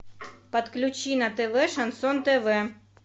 подключи на тв шансон тв